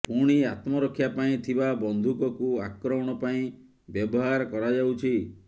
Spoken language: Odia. ପୁଣି ଆତ୍ମରକ୍ଷା ପାଇଁ ଥିବା ବନ୍ଧୁକକୁ ଆକ୍ରମଣ ପାଇଁ ବ୍ୟବହାର କରାଯାଉଛି